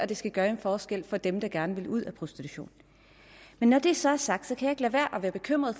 det skal gøre en forskel for dem der gerne vil ud af prostitution men når det så er sagt kan jeg ikke lade være at være bekymret